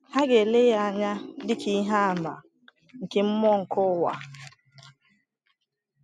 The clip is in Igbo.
Ha ga-ele ya anya dị ka ihe àmà nke “mmụọ nke ụwa”?